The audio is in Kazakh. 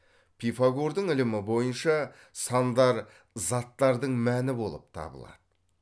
пифагордың ілімі бойынша сандар заттардың мәні болып табылады